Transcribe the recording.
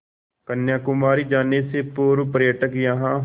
कन्याकुमारी जाने से पूर्व पर्यटक यहाँ